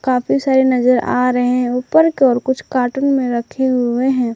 काफी सारी नजर आ रहे हैं ऊपर की ओर कुछ कार्टून में रखे हुए हैं।